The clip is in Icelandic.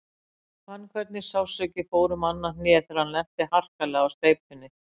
Hann fann hvernig sársauki fór um annað hnéð þegar hann lenti harkalega á steypunni.